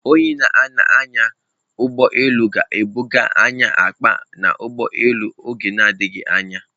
Onye na-anya ụgbọ elu ga-ebuga anyị akpa n'ụgbọelu n'oge na-adịghị anya.